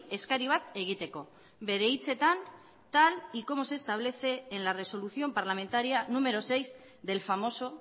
eskari bat egiteko bere hitzetan tal y como se establece en la resolución parlamentaria número seis del famoso